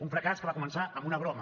un fracàs que va començar amb una broma